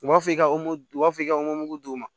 U b'a fɔ i ka u b'a fɔ i ka mugu d'u ma